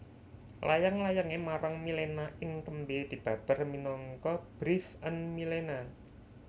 Layang layangé marang Milena ing tembé dibabar minangka Briefe an Milena